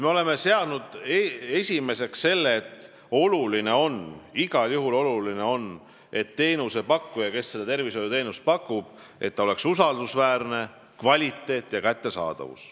Me oleme seadnud esikohale selle, et igal juhul on oluline, et tervishoiuteenuse pakkuja oleks usaldusväärne ning teenus oleks kvaliteetne ja kättesaadav.